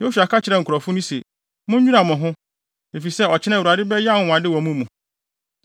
Yosua ka kyerɛɛ nkurɔfo no se, “Munnwira mo ho, efisɛ, ɔkyena Awurade bɛyɛ anwonwade wɔ mo mu.”